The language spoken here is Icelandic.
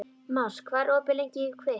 Mars, hvað er opið lengi í Kvikk?